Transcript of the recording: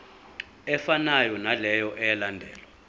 efanayo naleyo eyalandelwa